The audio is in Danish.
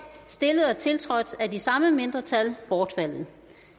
stillet og tiltrådt af de samme mindretal bortfaldet